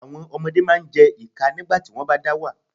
Àwọn ọmọdé máa jẹ́ ìkà nígbàtí wọ́n bá dá wà.